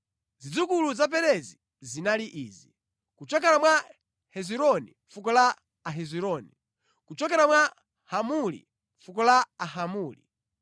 Zidzukulu za Perezi zinali izi: kuchokera mwa Hezironi, fuko la Ahezironi; kuchokera mwa Hamuli, fuko la Ahamuli.